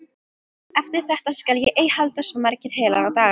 Eftir þetta skal ég ei halda svo marga heilaga daga.